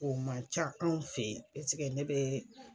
O man ca anw fe yen ne be.